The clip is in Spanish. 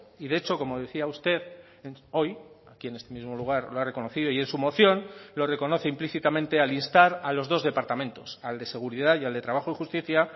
y de hecho como decía usted hoy aquí en este mismo lugar lo ha reconocido y en su moción lo reconoce implícitamente al instar a los dos departamentos al de seguridad y al de trabajo y justicia